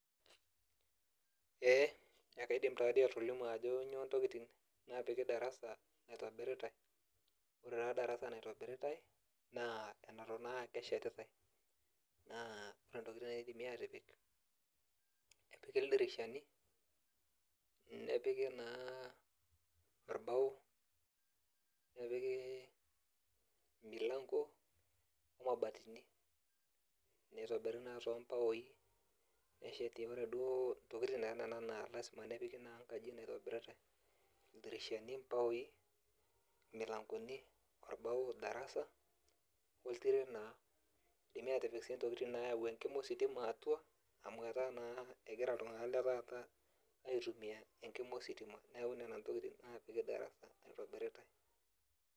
Ee, ekaidim tadi atolimu ajo nyoo ntokiting napiki darasa naitobiritai. Ore taa darasa naitobiritai, naa eneton naa akeshetitai. Naa ore ntokiting naidimi atipik, epiki ildirishani, nepiki naa orbao, nepiki emilanko, omabatini. Nitobiri naa tobaoi, neseti ore duo ntokiting naa nena naa lasima nepiki naa nkaji naitobiritai. Ildirishani, baoi, milankoni, orbao darasa, oltiren naa. Idimi atipik si intokiting nayau enkima ositima atua, amu etaa naa egira iltung'anak letaata aitumia enkima ositima. Neeku nena ntokiting napiki darasa naitobiritai.